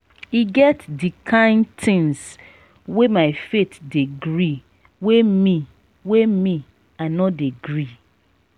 e get di kain tins wey my faith dey gree wey me wey me i no dey gree.